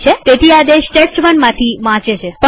તેથી આદેશ test1માંથી વાંચે છે